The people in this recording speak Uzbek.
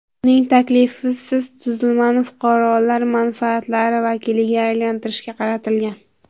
Uning taklifi tuzilmani fuqarolar manfaatlari vakiliga aylantirishga qaratilgan.